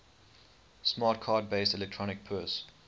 smart card based electronic purse